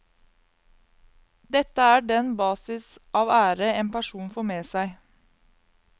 Dette er den basis av ære en person får med seg.